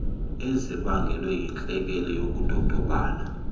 ezibangelwe yintlekele yokudodobala